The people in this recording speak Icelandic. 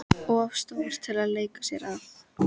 Of stór til að leika sér að.